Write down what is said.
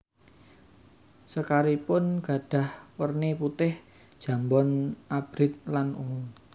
Sekaripun gadhah werni putih jambon abrit lan ungu